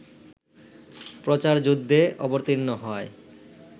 প্রচারযুদ্ধে অবতীর্ণ হয়